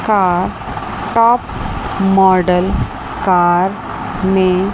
Thar top model car ने--